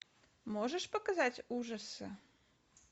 можешь показать ужасы